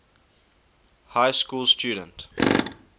high school student